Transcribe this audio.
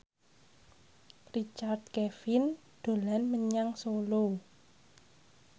Richard Kevin dolan menyang Solo